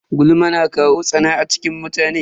Gulma na kawo tsana a cikin mutane.